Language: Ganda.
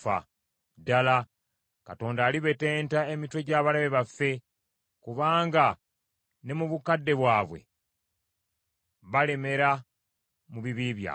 Ddala, Katonda alibetenta emitwe gy’abalabe be, kubanga ne mu bukadde bwabwe balemera mu bibi byabwe.